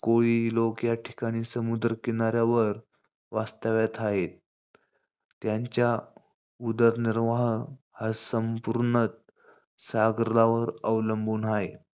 कोळी लोक या ठिकाणी समुद्र किनाऱ्यावर वास्तव्यात हायेत. त्यांच्या उदरनिर्वाह हा संपुर्ण सागरावर अवलंबुन हाये.